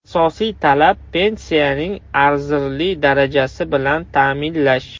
Asosiy talab pensiyaning arzirli darajasi bilan ta’minlash.